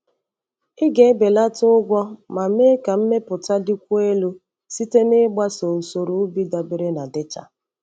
Ị ga-ebelata ụgwọ ma mee ka mmepụta dịkwuo elu site n’ịgbaso usoro ubi dabere na data.